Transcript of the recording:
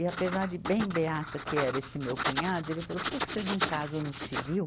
E apesar de bem beata que era esse meu cunhado, ele falou, por que que vocês não casam no civil?